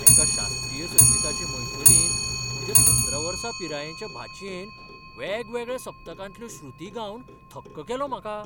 एका शास्त्रीय संगिताचे मैफलींत म्हज्या सतरा वर्सां पिरायेच्या भाचयेन वेगवेगळ्या सप्तकांतल्यो श्रुती गावन थक्क केलो म्हाका.